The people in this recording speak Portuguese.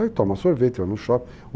Aí toma sorvete, vai no shopping.